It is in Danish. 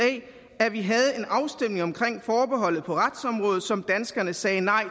at vi havde en afstemning omkring forbeholdet på retsområdet som danskerne sagde nej